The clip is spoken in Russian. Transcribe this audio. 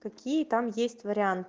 какие там есть варианты